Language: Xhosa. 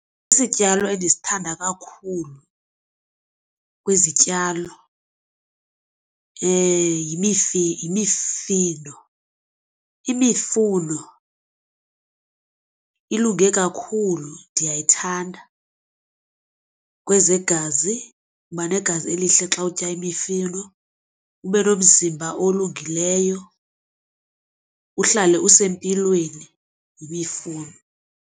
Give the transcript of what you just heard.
Isityalo endisithanda kakhulu kwizityalo yimifino. Imifuno ilunge kakhulu ndiyayithanda kwezegazi. Uba negazi elihle xa utya imifino ube nomzimba olungileyo uhlale usempilweni yimifuno.